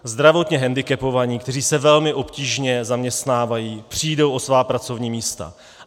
Zdravotně hendikepovaní, kteří se velmi obtížně zaměstnávají, přijdou o svá pracovní místa.